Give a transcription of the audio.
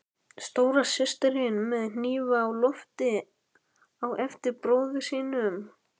Stóra systirin með hnífa á lofti á eftir bróður sínum.